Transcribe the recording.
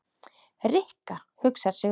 Rikka hugsar sig um.